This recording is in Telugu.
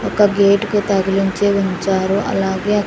ఒక గేట్ కి తగిలించి ఉంచారు అలాగే అ--